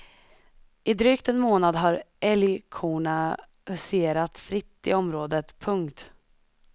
I drygt en månad har älgkorna huserat fritt i området. punkt